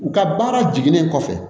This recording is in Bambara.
U ka baara jiginnen kɔfɛ